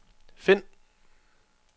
find